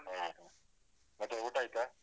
ಹೌದ ಮತ್ತೆ ಊಟ ಆಯ್ತಾ?